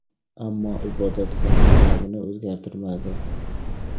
Ammo ibodatxona nomini o‘zgartirmadi .